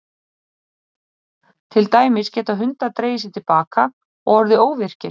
Til dæmis geta hundar dregið sig til baka og orðið óvirkir.